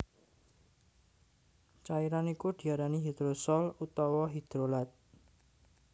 Cairan iku diarani hidrosol utawa hidrolat